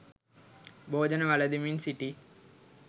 භෝජන වළඳමින් සිටි